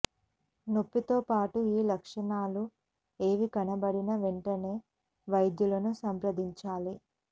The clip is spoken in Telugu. నొప్పితో పాటు ఈ లక్షణాల్లో ఏవి కనబడినా వెంటనే వైద్యులను సంప్రదించాలి